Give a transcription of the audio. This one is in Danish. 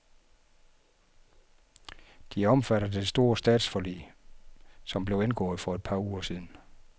De er omfattet af det store statsforlig, som blev indgået for et par uger siden.